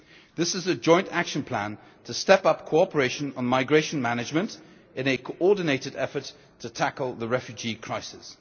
day. This is a joint action plan to step up cooperation on migration management in a coordinated effort to tackle the refugee crisis.